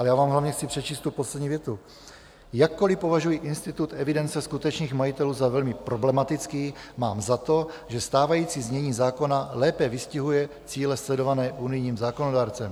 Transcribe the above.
Ale já vám hlavně chci přečíst tu poslední větu: "Jakkoli považuji institut evidence skutečných majitelů za velmi problematický, mám za to, že stávající znění zákona lépe vystihuje cíle sledované unijním zákonodárcem.